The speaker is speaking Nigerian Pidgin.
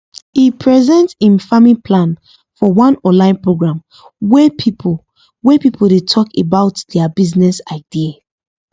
he present him farming plan for one online program wey people wey people dey talk about their business idea